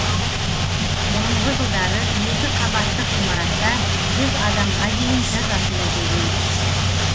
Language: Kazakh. бұрынғы жылдары екі қабаттық ғимаратта жүз адамға дейін жазасын өтеген